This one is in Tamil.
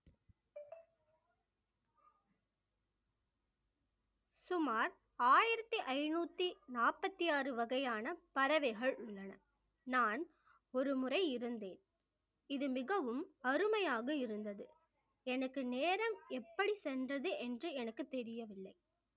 சுமார் ஆயிரத்தி ஐநூத்தி நாற்பத்தி ஆறு வகையான பறவைகள் உள்ளன நான் ஒருமுறை இருந்தேன் இது மிகவும் அருமையாக இருந்தது எனக்கு நேரம் எப்படி சென்றது என்று எனக்கு தெரியவில்லை